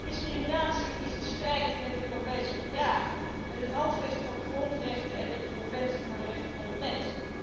Discriminatie is in strijd met de Europese Verdragen, met het Handvest van de grondrechten en met de Conventie voor de rechten van de mens.